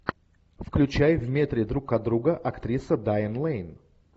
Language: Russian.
включай в метре друг от друга актриса дайан лэйн